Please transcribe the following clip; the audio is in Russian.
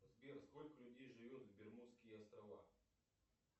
сбер сколько людей живет в бермудские острова